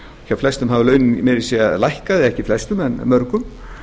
hjá flestum hafa launin meira að segja lækkað ekki flestum en mörgum